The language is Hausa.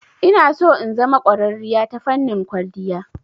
Inaso in zama ƙwararriya ta fannin kwalliya.